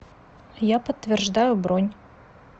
я подтверждаю бронь